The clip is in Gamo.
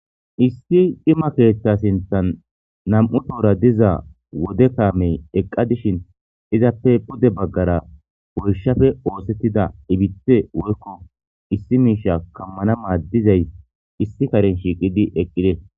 Issi dhima keeththa sinthan nam'u toora diza wode kaamey eqqa dishin izappe pude baggara boyshafe oosettida ibithe woykko issi miisha kammana maaddizay issi karen shiiqidi eqqide